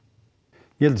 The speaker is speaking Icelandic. ég held